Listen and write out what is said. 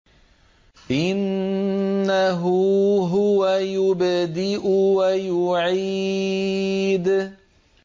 إِنَّهُ هُوَ يُبْدِئُ وَيُعِيدُ